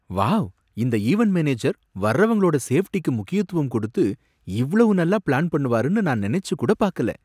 Wow! இந்த event manager வர்றவங்களோட சேஃப்டிக்கு முக்கியத்துவம் கொடுத்து இவ்வளவு நல்லா பிளான் பண்ணுவாருன்னு நான் நினைச்சு கூட பாக்கல.